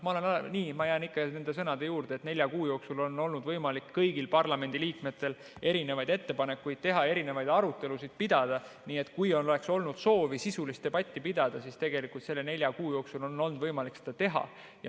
Ma jään nende sõnade juurde, et nelja kuu jooksul on olnud võimalik kõigil parlamendiliikmetel ettepanekuid teha, erinevaid arutelusid pidada, nii et kui oleks olnud soovi sisulist debatti pidada, siis selle nelja kuu jooksul on olnud võimalik seda teha.